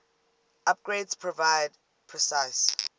upgrades provided precise